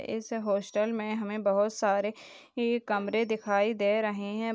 इस हॉस्टल में हमे बोहोत सारे ए कमरे दिखाई दे रहे है।